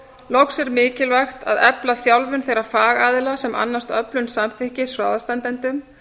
loks er mikilvægt að efla þjálfun þeirra fagaðila sem annast öflun samþykkis frá aðstandendum